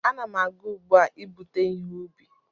Ana m aga ugbo ibute ihe ubi